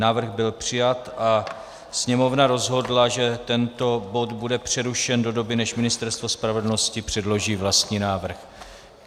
Návrh byl přijat a Sněmovna rozhodla, že tento bod bude přerušen do doby, než Ministerstvo spravedlnosti předloží vlastní návrh.